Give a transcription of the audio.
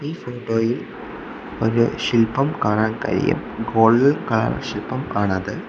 Photo യിൽ ഒരു ശില്പം കാണാൻ കഴിയും ഗോൾഡ് കളർ ശില്പം ആണത്.